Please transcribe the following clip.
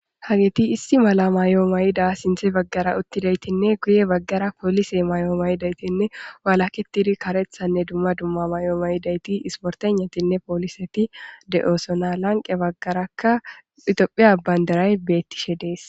Hageti issi mala mayo mayida sinthe baggara uttidaytinne guye baggara poolise may7o mayidaytinne waalaketidi karethanne dumma dumma may7o mayidayti isportennatinne pooliseti de7oosona lanqe baggarakka itophiya bandaray beettishe dees.